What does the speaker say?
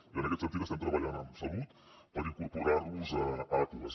i en aquest sentit estem treballant amb salut per incorporar nos a aquas